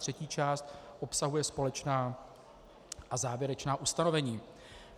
Třetí část obsahuje společná a závěrečná ustanovení.